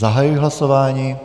Zahajuji hlasování.